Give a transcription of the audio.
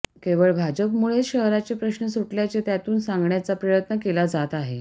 केवळ भाजपमुळेच शहराचे प्रश्न सुटल्याचे त्यातून सांगण्याचा प्रयत्न केला जात आहे